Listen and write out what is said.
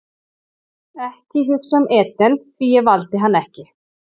Ekki hugsa um Eden því ég valdi hann ekki.